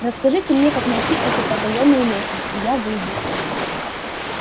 расскажите мне как найти эту потаённую лестницу я выйду